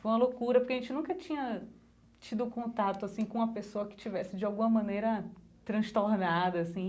Foi uma loucura porque a gente nunca tinha tido contato assim com uma pessoa que tivesse de alguma maneira transtornada, assim.